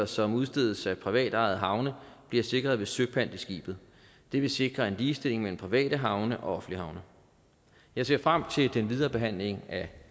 som udstedes af privatejede havne bliver sikret ved søpant i skibet det vil sikre en ligestilling mellem private havne og offentlige havne jeg ser frem til den videre behandling af